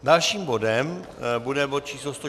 Dalším bodem bude bod číslo